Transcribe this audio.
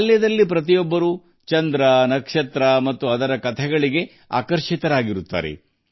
ಬಾಲ್ಯದಲ್ಲಿ ಆಗಸದ ಚಂದ್ರ ಮತ್ತು ನಕ್ಷತ್ರಗಳ ಕಥೆಗಳು ಎಲ್ಲರನ್ನೂ ಆಕರ್ಷಿಸುತ್ತವೆ